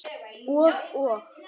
Og, og.